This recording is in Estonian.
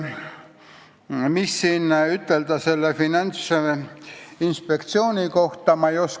Mida ütelda Finantsinspektsiooni kohta?